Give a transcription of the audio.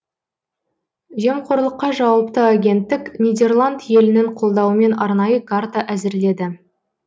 жемқорлыққа жауапты агенттік нидерланд елінің қолдауымен арнайы карта әзірледі